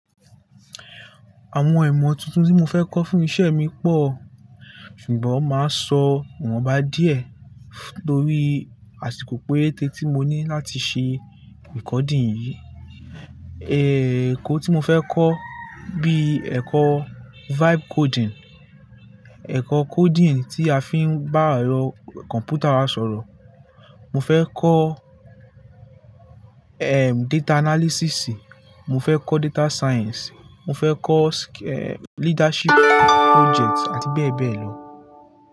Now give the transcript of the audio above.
Àwọn ìmọ̀ tuntun tí mo fẹ́ kọ́ fún iṣẹ́ mi pọ̀, ṣùgbọ́n màá sọ wọn bá díẹ̀ torí àsìkò péréte tí mo ní láti ṣe recording yìí. Ẹ̀kọ́ tí mo fẹ́ kọ́ bí ẹ̀kọ́ vibe coding, ẹ̀kọ́ coding tí a fi ń bá ẹ̀rọ kọ̀npútà sọ̀rọ̀. Mo fẹ́ kọ́, ẹm, data analysis, mo fẹ́ kọ́ data science, mo fẹ́ kọ́, ẹm, leadership project àti bẹ́ẹ̀ bẹ́ẹ̀ lọ.